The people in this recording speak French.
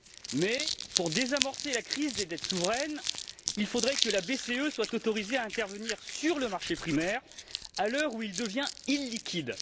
Mais, pour désamorcer la crise des dettes souveraines, il faudrait que la BCE soit autorisée à intervenir sur le marché primaire, à l'heure où il devient illiquide.